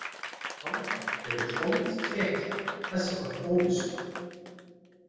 Álfar eru holdtekja þessarar óvissu.